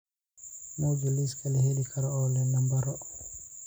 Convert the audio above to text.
muuji liiska la heli karo oo leh nambaro